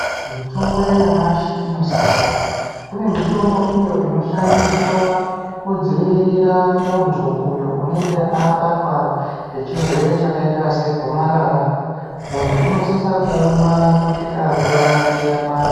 Mitombo yanyamashi inosiyana kune mitombo iyo inoshandiswa kudzivirira muntu uyo unonga abatwa nechirwere chakaita segomarara muntu unosisa kuumwa kusvika nguva yake yakwana.